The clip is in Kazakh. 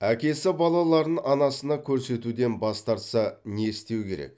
әкесі балаларын анасына көрсетуден бас тартса не істеу керек